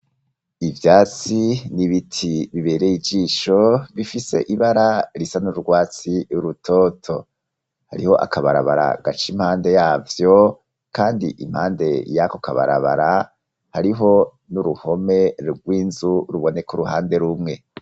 Ivyatsi n'ibiti bibereye ijisho bifise ibara risa n'urwatsi rutoto. Hariho akabarabara gaca impande yavyo kandi impande yako kabarabara hariho n'uruhome rw'inzu ruboneka uruhande rumwe.